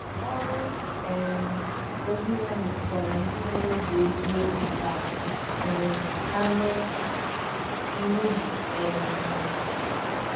Ọrụ um ozi ya metụtara ndị nwere obi eziokwu ka um ha mee mmehie. um